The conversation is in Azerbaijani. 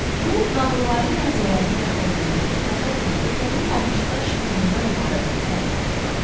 Bu nağılvari mənzərənin yaxınlığındakı tatar kəndi yonulmamış daş yığınından ibarət kütləni xatırladır.